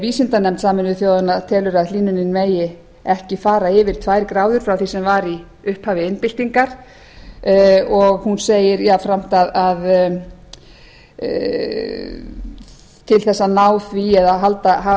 vísindanefnd sameinuðu þjóðanna telur að hlýnunin megi ekki fara yfir tvær gráður frá því sem var í upphafi iðnbyltingar og hún segir jafnframt að til þess að ná því eða